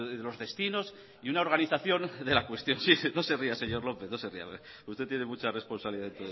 los destinos y una organización de la cuestión sí no se ría señor lópez porque usted tiene mucha responsabilidad en todo esto